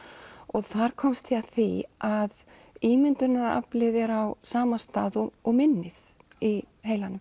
þar komst ég að því að ímyndunaraflið er á sama stað og og minnið í heilanum